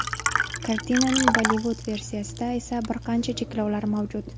Kartinaning Bollivud versiyasida esa bir qancha cheklovlar mavjud.